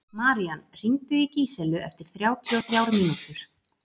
Marían, hringdu í Gíselu eftir þrjátíu og þrjár mínútur.